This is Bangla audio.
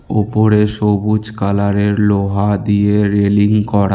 ওপরে সবুজ কালারের লোহা দিয়ে রেলিং করা।